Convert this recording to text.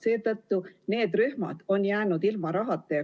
Seetõttu on need rühmad jäänud ilma rahata.